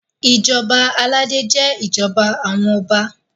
ìjọba aládé jé ìjọba àwọn ọba